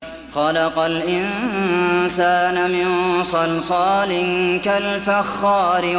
خَلَقَ الْإِنسَانَ مِن صَلْصَالٍ كَالْفَخَّارِ